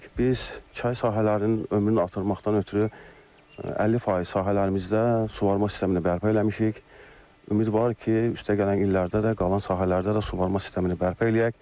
Biz çay sahələrinin ömrünü artırmaqdan ötrü 50 faiz sahələrimizdə suvarma sistemini bərpa eləmişik, ümidvarıq ki, üstəgələn illərdə də qalan sahələrdə də suvarma sistemini bərpa eləyək.